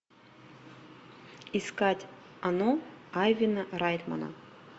искать оно авина райтмана